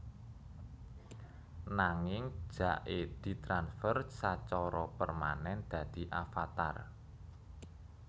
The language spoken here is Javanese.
Nanging Jake ditransfer sacara permanen dadi avatar